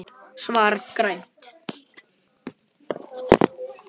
Svar: Grænn